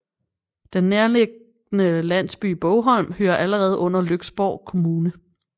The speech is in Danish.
Den nærliggende landsby Bogholm hører allerede under Lyksborg Kommune